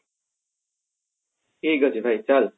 ଠିକ ଅଛି ଭାଇ ଚାଲ